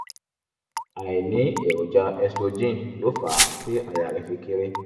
àìní èròjà estrogen ló fà á tí àyà rẹ̀ fi kééré